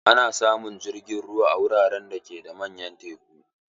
Ana samun jirgin ruwan a wuraren da ke da manyan teku.